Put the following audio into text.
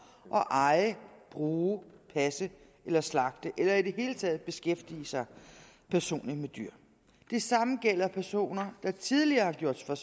at eje bruge passe slagte eller i det hele taget beskæftige sig personligt med dyr det samme gælder personer der tidligere har gjort sig